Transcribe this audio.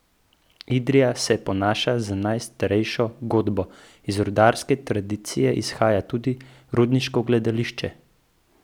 Idrija se ponaša z najstarejšo godbo, iz rudarske tradicije izhaja tudi rudniško gledališče.